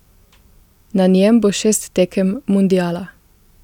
Na njem bo šest tekem mundiala.